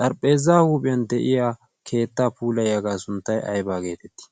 xarphpheezza huuphiyan de'iya keetta puulayyaagaa sunttay aybaa geetettii?